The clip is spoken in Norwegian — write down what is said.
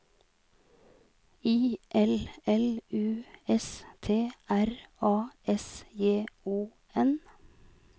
I L L U S T R A S J O N